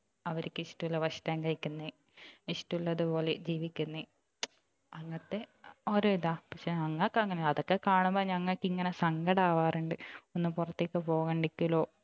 അവർക്ക് ഇഷ്ടമുള്ള ഭക്ഷണം കഴിക്കുന്നു ഇഷ്ടമുള്ളതുപോലെ ജീവിക്കുന്നു അങ്ങനത്തെ ഓരോ ഇതാ പക്ഷെ ഞങ്ങൾക്ക് അങ്ങനെ അതൊക്കെ കാണുമ്പോൾ ഞങ്ങൾക്ക് ഇങ്ങനെ സങ്കടം ആവാറുണ്ട് ഒന്ന് പുറത്തേക്ക് പോകാണ്ടിക്കലോ